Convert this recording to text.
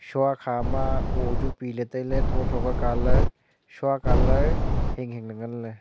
shua kha ma oo chu pile tailey tho tho ka colour hing hing ley ngan ley.